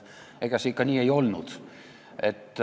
Ega see ikka nii ei olnud.